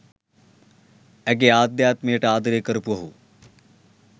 ඇගේ ආධ්‍යාත්මයට ආදරය කරපු ඔහු